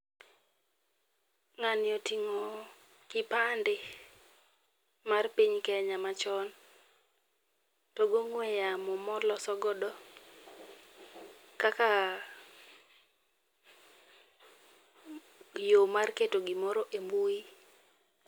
Ng'ani oting'o kipande mar piny Kenya machon, to gi ong'ue yamo molosogodo kaka yo mar keto gimoro e mbui.